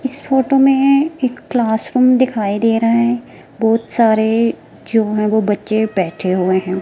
इस फोटो में एक क्लासरूम दिखाई दे रहा है बहुत सारे जो हैं वो बच्चे बैठे हुए हैं।